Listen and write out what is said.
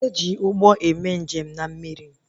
E ji Ụgbọ eme njem na mmiri